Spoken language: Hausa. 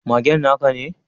Magen na ka ne?